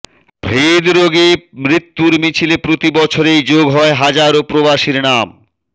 হৃদরোগে মৃত্যুর মিছিলে প্রতিবছরেই যোগ হয় হাজারও প্রবাসীর নাম